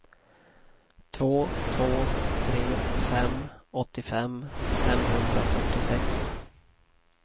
två två tre fem åttiofem femhundrafyrtiosex